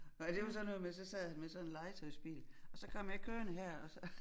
Nåh det var sådan noget med så sad han med sådan en legetøjsbil og så kom jeg kørende her og så